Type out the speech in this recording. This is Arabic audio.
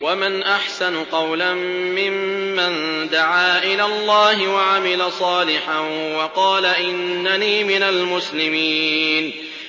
وَمَنْ أَحْسَنُ قَوْلًا مِّمَّن دَعَا إِلَى اللَّهِ وَعَمِلَ صَالِحًا وَقَالَ إِنَّنِي مِنَ الْمُسْلِمِينَ